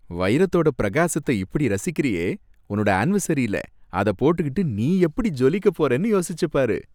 வைரத்தோட பிரகாசத்தை இப்படி ரசிக்கிறியே, உன்னோட அனிவர்சரியில இதை போட்டுக்கிட்டு நீ எப்படி ஜொலிக்கப்போறனு யோசிச்சுப்பாரு.